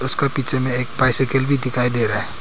उसका पीछे में एक बाइसाइकिल भी दिखाई दे रहा है।